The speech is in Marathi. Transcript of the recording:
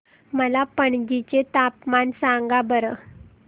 मला पणजी चे तापमान सांगा बरं